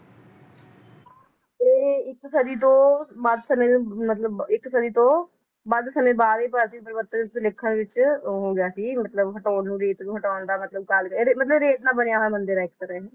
ਇਹ ਇੱਕ ਸਦੀ ਤੋਂ ਮੱਧ ਸਮੇ ਦੇ ਮਤਲਬ ਇੱਕ ਸਦੀ ਤੋਂ ਵੱਧ ਸਮੇ ਬਾਅਦ ਇਹ ਵਿੱਚ ਉਹ ਹੋ ਗਿਆ ਸੀ ਮਤਲਬ ਹਟਾਉਣ ਨੂੰ ਰੇਤ ਨੂੰ ਹਟਾਉਣ ਦਾ ਮਤਲਬ ਰੇਤ ਨਾਲ ਬਣਿਆ ਹੋਇਆ ਮੰਦਿਰ ਏ ਇਕ ਤਰ੍ਹਾਂ ਇਹ